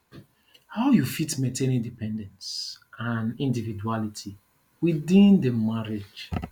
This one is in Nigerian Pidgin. how you fit maintain independence and individuality within di marriage